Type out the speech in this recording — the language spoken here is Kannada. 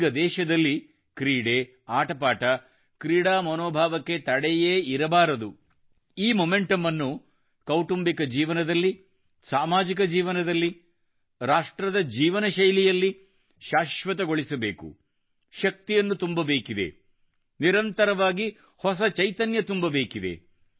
ಈಗ ದೇಶದಲ್ಲಿ ಕ್ರೀಡೆ ಆಟಪಾಟ ಕ್ರೀಡಾ ಮನೋಭಾವಕ್ಕೆ ತಡೆಯೇ ಇರಬಾರದು ಈ ಮೊಮೆಂಟಮ್ ಅನ್ನು ಕೌಟುಂಬಿಕ ಜೀವನದಲ್ಲಿ ಸಾಮಾಜಿಕ ಜೀವನದಲ್ಲಿ ರಾಷ್ಟ್ರದ ಜೀವನಶೈಲಿಯಲ್ಲಿ ಶಾಶ್ವತಗೊಳಿಸಬೇಕು ಶಕ್ತಿಯನ್ನು ತುಂಬಬೇಕಿದೆ ನಿರಂತರವಾಗಿ ಹೊಸ ಚೈತನ್ಯ ತುಂಬಬೇಕಿದೆ